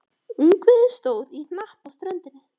Ungviðið stóð í hnapp á ströndinni.